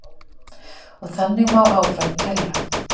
Og þannig má áfram telja.